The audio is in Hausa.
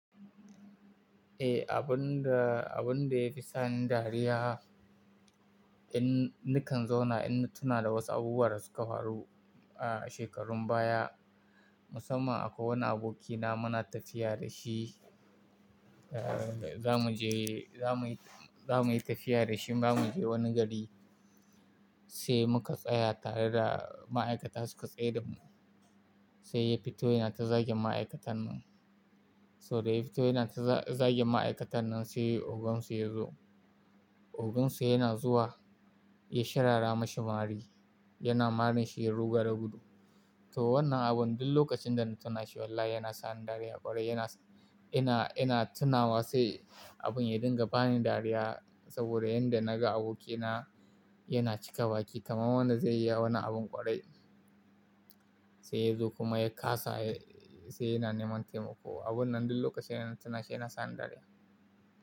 Eh, abun da, abun da yake sani dariya in nikan zauna ina tuna da wasu abubuwa da suka faru, ah, shekarun baya. Musamman akwai wani abokina muna tafiya da shi, ah, za mu je, za mu yi, za mu yi tafiya da shi za mu je wani gari sai muka tsaya tare da ma'aikata suka tsaye da mu. Sai ya fito yana ta zagin ma'aikatan nan. So da ya fito yana ta za-zagin ma'aikatan nan sai ogonsu ya zo. Ogonsu yana zuwa ya shirara mashi mari, yana marin shi ya ruga da gudu. To wannan abun duk lokacin da na tuna shi wallahi yana sani dariya ƙwarai. Yana, ina, ina tunawa sai abin ya dinga bani dariya saboda yanda naga abokina yana cika baki kamar wannan zai iya yin wannan abin ƙwarai. Sai ya zo kuma ya kasa, sai yana neman taimako. Abun nan duk lokaci ina tuna shi yana sani dariya.